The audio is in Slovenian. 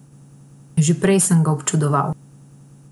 Že prej sem ga občudoval.